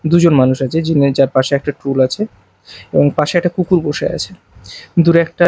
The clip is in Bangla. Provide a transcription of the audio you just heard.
দুজন মানুষ আছে যার পাশে একটা টুল আছে এবং পাশে একটা কুকুর বসে আছে দূরে একটা--